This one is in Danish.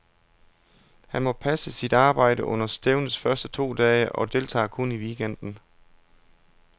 Han må passe sit arbejde under stævnets første to dage, og deltager kun i weekenden.